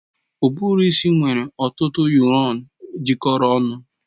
Uburu isi nwere ọtụtụ nuyurọn jikọrọ ọnụ.